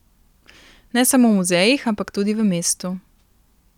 Ne samo v muzejih, ampak tudi v mestu.